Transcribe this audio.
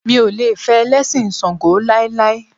Mi ò lè fẹ́ Ẹlẹ́sìn ṣàǹgó láíláí.